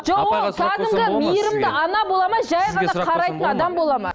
жоқ ол кәдімгі мейірімді ана бола ма жай ғана қарайтын адам бола ма